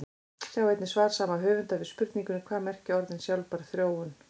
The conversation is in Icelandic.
Sjá einnig svar sama höfundar við spurningunni Hvað merkja orðin sjálfbær þróun?